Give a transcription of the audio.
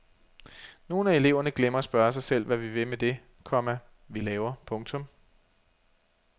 Nogle af eleverne glemmer at spørge sig selv hvad vi vil med det, komma vi laver. punktum